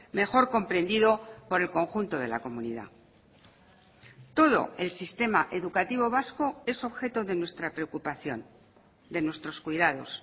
mejor comprendido por el conjunto de la comunidad todo el sistema educativo vasco es objeto de nuestra preocupación de nuestros cuidados